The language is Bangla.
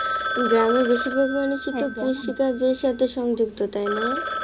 গ্রামের বেশিরভাগ মানুষই তো কৃষি কাজের সাথে সংযুক্ত তাই না?